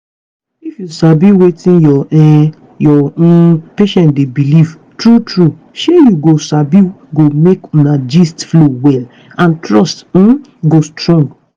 if you sabi wetin your um your um patient dey believe true true shey you sabi go make una gist flow well and trust um go strong.